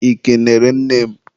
ị kenere nne m?